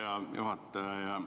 Hea juhataja!